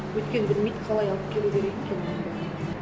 өйткені білмейді қалай алып келу керек екенің ұнды